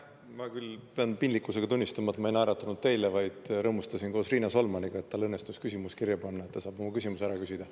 Ma küll pean piinlikkusega tunnistama, et ma ei naeratanud teile, vaid rõõmustasin koos Riina Solmaniga, et tal õnnestus küsimus kirja panna ja ta saab mulle mõeldud küsimuse ära küsida.